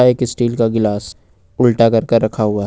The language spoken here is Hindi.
एक स्टील का गिलास उल्टा करकर रखा हुआ है।